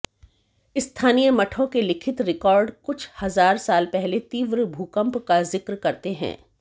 स्थानीय मठों के लिखित रिकार्ड कुछ हजार साल पहले तीव्र भूकंप का जिक्र करते हैं